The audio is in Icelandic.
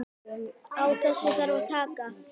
Á þessu þarf að taka.